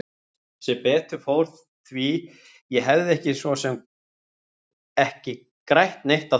Sem betur fór því ég hefði svo sem ekki grætt neitt á því.